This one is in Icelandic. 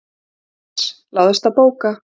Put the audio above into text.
MATTHÍAS: Láðist að bóka?